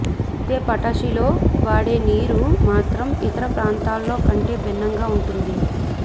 అయితే పటాషిలో వాడే నీరు మాత్రం ఇతర ప్రాంతాల్లో కంటే భిన్నంగా ఉంటుంది